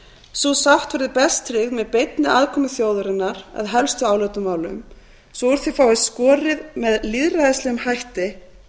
sú sátt verður best tryggð með beinni aðkomu þjóðarinnar að helstu álitamálum svo úr því fáist skorið með lýðræðislegum hætti